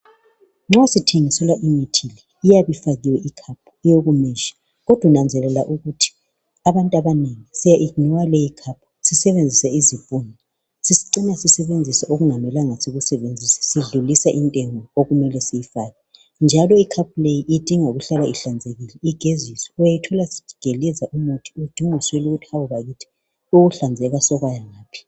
Nxa sithingiselwa imithi iyabe ifakiwe icup, eyokumeasure. Kodwa nanzelela ukuthi abantu abanengi siyayi iginowa licup. Sisebenzise izipunu, sicine sisebenzise okungamelanga sisikusebenzise. Sidlulisa intengo okumele siyifake, njalo icup leyi, idinga ukuhlala ihlanzekile, igeziswe. Uyayithola isigeleza umuthi. Udinge uswele ukuthi yeyi bakith! Ukuhlanzeka sekwaya ngaphi?